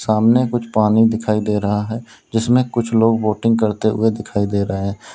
सामने कुछ पानी दिखाई दे रहा है जिसमें कुछ लोग बोटिंग करते हुए दिखाई दे रहे हैं।